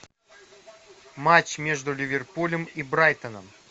матч между ливерпулем и брайтоном